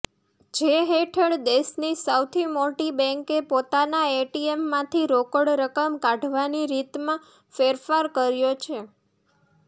જે હેઠળ દેશની સૌથી મોટી બેન્કે પોતાના એટીએમમાંથી રોકડ રકમ કાઢવાની રીતમાં ફેરફાર કર્યો છે